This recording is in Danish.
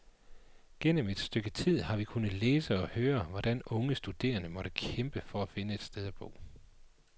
Gennem et stykke tid har vi kunnet læse og høre, hvordan unge studerende må kæmpe for at finde et sted at bo.